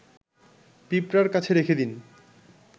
পিঁপড়ার কাছে রেখে দিন